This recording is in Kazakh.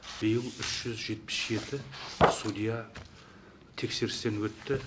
биыл үш жүз жетпіс жеті судья тексерістен өтті